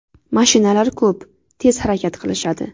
Mashinalar ko‘p, tez harakat qilishadi.